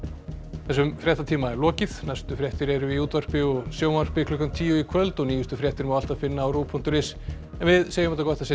þessum fréttatíma er lokið næstu fréttir eru í útvarpi og sjónvarpi klukkan tíu í kvöld og nýjustu fréttir má alltaf finna á rúv punktur is en við segjum þetta gott að sinni